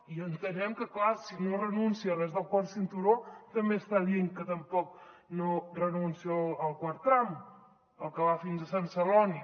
i entenem que clar si no renuncia a res del quart cinturó també està dient que tampoc no renuncia al quart tram al que va fins a sant celoni